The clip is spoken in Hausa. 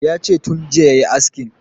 Yace tun jiya yayi askin